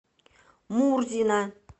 мурзина